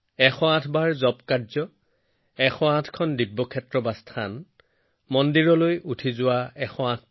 এতিয়া আমি এই পৰ্যায়ত উপনীত হলে আমি নতুনকৈ আৰম্ভ কৰিব লাগিব নৱীকৃত শক্তি আৰু গতিৰে আগবাঢ়ি যোৱাৰ সংকল্প লব লাগিব